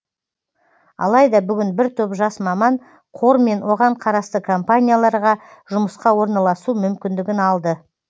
алайда бүгін бір топ жас маман қор мен оған қарасты компанияларға жұмысқа ораналасу мүмкіндігін алды